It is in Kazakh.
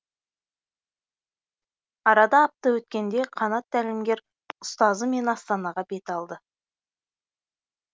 арада апта өткенде қанат тәлімгер ұстазы мен астанаға бет алды